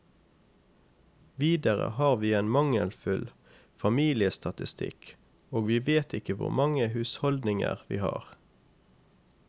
Videre har vi en mangelfull familiestatistikk, og vi vet ikke hvor mange husholdninger vi har.